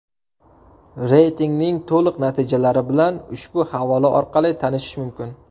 Reytingning to‘liq natijalari bilan ushbu havola orqali tanishish mumkin.